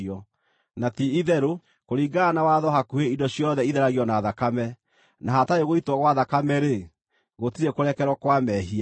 Na ti-itherũ, kũringana na watho hakuhĩ indo ciothe itheragio na thakame, na hatarĩ gũitwo gwa thakame-rĩ, gũtirĩ kũrekerwo kwa mehia.